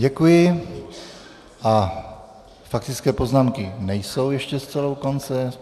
Děkuji a faktické poznámky nejsou ještě zcela u konce.